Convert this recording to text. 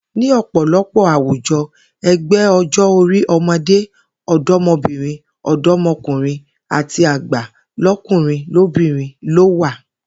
Ní ò̩pò̩lo̩pò̩ àwùjo̩, e̩gbé̩ o̩jó̩-orí o̩mo̩dé, o̩do̩mo̩bìnrin, ò̩dó̩mo̩kùnrin àti àgbà ló̩kùnrin lóbìnrin ló wà